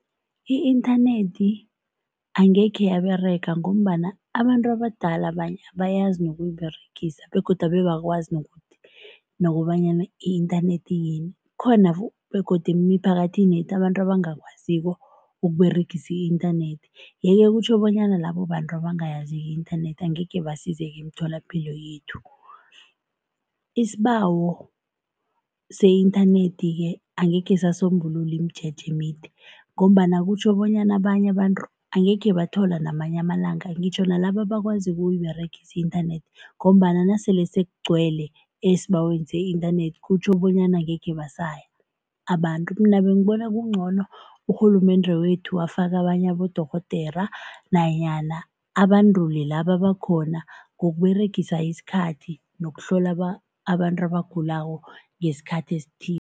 I-inthanethi angekhe yaberega ngombana abantu abadala abanye abayazi nokuyiberegisa begodu abe abakwazi nokuthi nokobanyana i-inthanethi iyini, kukhona begodu emiphakathini yethu abantu abangakwaziko ukuberegisa i-inthanethi yeke kutjho bonyana labo bantu ebangayaziko i-inthanethi angekhe basizeke emitholapilo yethu. Isibawo se-inthanethi-ke angekhe sasombulula imijeje emide ngombana kutjho bonyana abanye abantu angekhe bathola namanye amalanga, ngitjho nalaba abakwaziko ukuyiberegisa i-inthanethi ngombana nasele sekugcwele esibaweni se-inthanethi, kutjho bonyana angekhe basaya abantu. Mina bengibona kungcono urhulumende wethu afake abanye abodorhodera nanyana abandule laba abakhona ngokuberegisa isikhathi nokuhlola abantu abagulako ngesikhathi esithile.